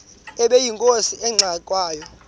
ubeyinkosi engangxe ngwanga